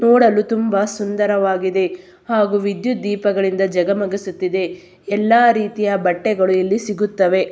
ನೋಡಲು ತುಂಬಾ ಸುಂದರವಾಗಿದೆ ಹಾಗು ವಿದ್ಯುತ್ ದೀಪಗಳಿಂದ ಜಗಮಗಿಸುತ್ತಿದೆ ಎಲ್ಲಾ ರೀತಿಯ ಬಟ್ಟೆಗಳು ಇಲ್ಲಿ ಸಿಗುತ್ತವೆ.